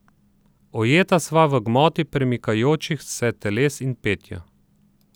Ujeta sva v gmoti premikajočih se teles in petju.